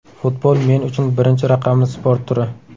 Futbol men uchun birinchi raqamli sport turi.